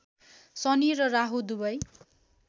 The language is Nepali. शनि र राहु दुबै